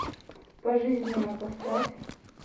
пожизненно поставь